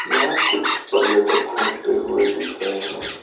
यहां कुछ पर्यटक घूमते हुए दिख रहे हैं।